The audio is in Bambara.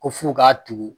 Ko f'u k'a tugu